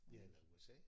Ja eller USA